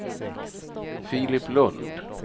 Filip Lund